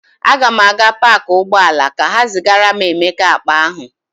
Aga m aga paakị ụgbọala ka ha zigara Emeka akpa ahụ.